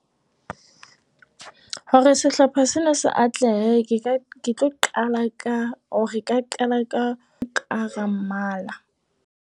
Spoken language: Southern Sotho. Hore sehlopha sena se atlehe, ke ke tlo qala ka o ka qala ka ho ka hara mmala.